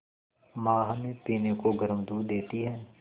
माँ हमें पीने को गर्म दूध देती हैं